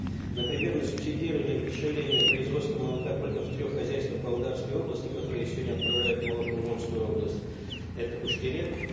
например на субсидирование удешевления производства молока только в трех хозяйствах павлодарской области которая сегодня отправляет молоко в омскую область это уш терек